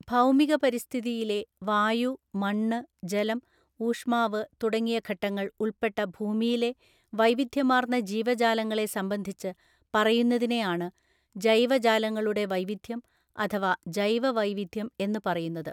ഭൗമിക പരിസ്ഥിതിയിലെ വായു മണ്ണ് ജലം ഊഷ്മാവ് തുടങ്ങിയ ഘ ട്ടങ്ങൾ ഉൾപ്പെട്ട ഭൂമിയിലെ വൈവിധ്യമാർന്ന ജീവജാലങ്ങളെ സംബന്ധിച്ച് പറയുന്നതി നെയാണ് ജൈവജാലങ്ങളുടെ വൈവിധ്യം അഥവാ ജൈവ വൈവിധ്യം എന്നു പറയു ന്നത്.